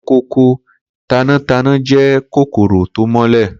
Kòkòkò tanátaná jẹ́ kòkòrò tó mọ̀lẹ́.